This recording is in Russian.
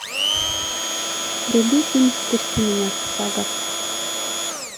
вруби фильм впусти меня сага